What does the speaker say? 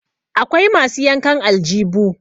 akwai masu yankan aljibu